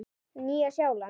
Nýja Sjáland